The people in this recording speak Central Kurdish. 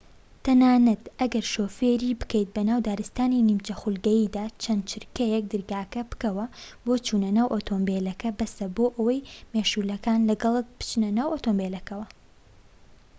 تەنانەت ئەگەر شۆفێری بکەیت بەناو دارستانی نیمچە خولگەییدا چەند چرکەیەك دەرگاکە بکەوە بۆ چونە ناو ئۆتۆمبیلەکە بەسە بۆ ئەوەی مێشولەکان لەگەڵت بچنە ناو ئۆتۆمبیلەکەوە